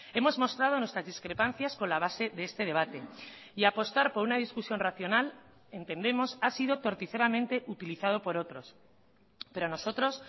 hemos mostrado nuestras discrepancias con la base de este debate y apostar por una discusión racional entendemos ha sido torticeramente utilizado por otros pero nosotros